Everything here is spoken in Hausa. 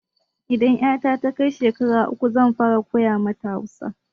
Idan 'yata ta kai shekara uku zan fara koya mata Hausa.